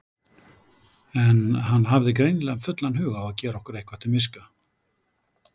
En hann hafði greinilega fullan hug á að gera okkur eitthvað til miska.